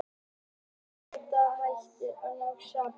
Endarnir hættir að ná saman.